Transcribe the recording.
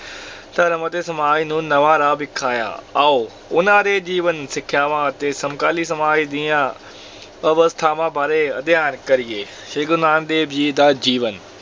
ਧਰਮ ਅਤੇ ਸਮਾਜ ਨੂੰ ਨਵਾਂ ਰਾਹ ਵਿਖਾਇਆ, ਆਓ ਉਹਨਾਂ ਦੇ ਜੀਵਨ, ਸਿੱਖਿਆਵਾਂ ਅਤੇ ਸਮਕਾਲੀ ਸਮਾਜ ਦੀਆਂ ਅਵਸਥਾਵਾਂ ਬਾਰੇ ਅਧਿਐਨ ਕਰੀਏ, ਸ੍ਰੀ ਗੁਰੂ ਨਾਨਕ ਦੇਵ ਜੀ ਦਾ ਜੀਵਨ